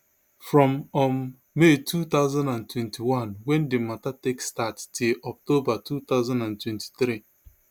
from um may two thousand and twenty-one wen di mata take start till october two thousand and twenty-three